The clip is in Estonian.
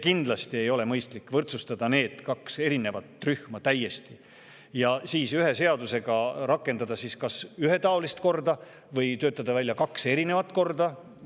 Kindlasti ei ole mõistlik võrdsustada need kaks erinevat rühma ja siis ühe seadusega rakendada kas ühetaolist korda või töötada välja kaks erinevat korda.